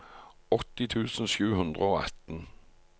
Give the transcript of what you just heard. åtti tusen sju hundre og atten